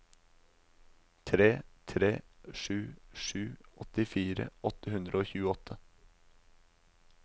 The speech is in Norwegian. tre tre sju sju åttifire åtte hundre og tjueåtte